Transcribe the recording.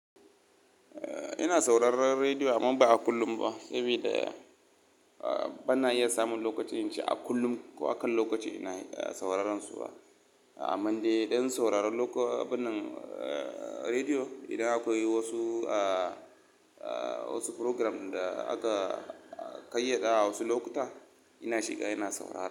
Eh, ina sauraron rediyo amma ba a kullum ba, saboda bana iya samun lokaci in ce a kullum ko a kan lokaci ina sauraron su. Amman dai idan sauraron wannan rediyo, idan akwai wasu, wasu program da aka ƙayyada a wasu lokuta ina shiga ina saurara.